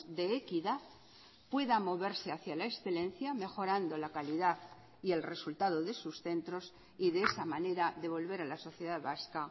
de equidad pueda moverse hacia la excelencia mejorando la calidad y el resultado de sus centros y de esa manera devolver a la sociedad vasca